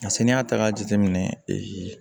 Nka sanni y'a ta k'a jateminɛ